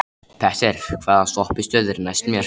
Petter, hvaða stoppistöð er næst mér?